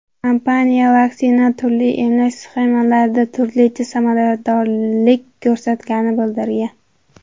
Kompaniya vaksina turli emlash sxemalarida turlicha samaradorlik ko‘rsatganini bildirgan.